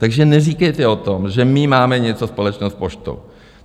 Takže neříkejte o tom, že my máme něco společného s poštou.